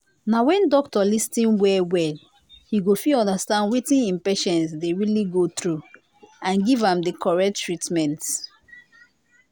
na when doctor lis ten well well he go fit understand wetin him patient dey really go through and give am the correct treatment